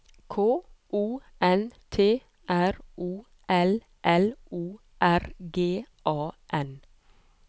K O N T R O L L O R G A N